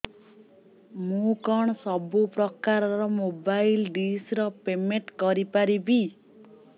ମୁ କଣ ସବୁ ପ୍ରକାର ର ମୋବାଇଲ୍ ଡିସ୍ ର ପେମେଣ୍ଟ କରି ପାରିବି